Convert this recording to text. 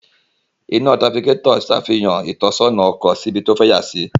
Ina tirafikatọ ǹṣafihan itọsọna ọkọ si ibi to fẹ yasi